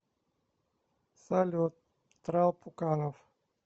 салют трал пуканов